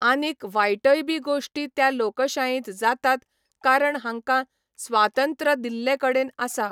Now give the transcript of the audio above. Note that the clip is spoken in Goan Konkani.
आनीक वायटय बी गोश्टी त्या लोकशायेंत जातात कारण हांकां स्वातंत्र दिल्ले कडेन आसा